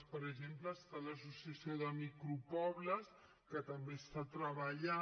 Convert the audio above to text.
per exemple està l’associació de micropobles que també està treballant